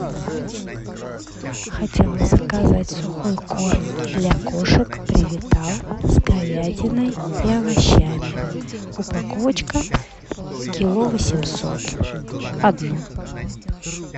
хотела заказать сухой корм для кошек превитал с говядиной и овощами упаковочка кило восемьсот одну